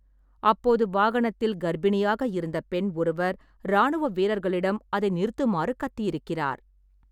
அப்போது வாகனத்தில் கர்ப்பிணியாக இருந்த பெண் ஒருவர் ராணுவ வீரர்களிடம் அதை நிறுத்துமாறு கத்தியிருக்கிறார்.